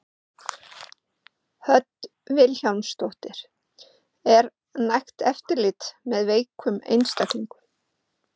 Hödd Vilhjálmsdóttir: Er nægt eftirlit með veikum einstaklingum?